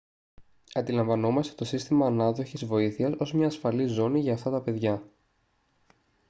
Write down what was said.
αντιλαμβανόμαστε το σύστημα ανάδοχης βοήθειας ως μια ασφαλή ζώνη για αυτά τα παιδιά